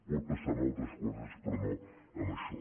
pot passar amb altres coses però no amb això